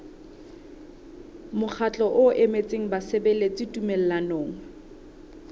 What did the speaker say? mokgatlo o emetseng basebeletsi tumellanong